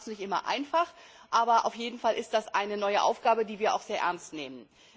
Das macht es nicht immer einfach, aber auf jeden Fall ist das eine neue Aufgabe, die wir sehr ernst nehmen.